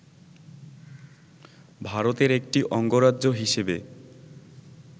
ভারতের একটি অঙ্গরাজ্য হিসেবে